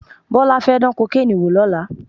Bọ́lá fẹ́ dán kokéènì wò lọ́la